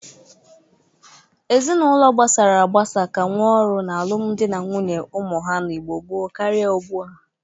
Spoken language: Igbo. Ezinaụlọ gbasara agbasa ka nwe ọrụ na alụmdị na nwunye ụmụ ha n'Igbo gboo karị ugbu a.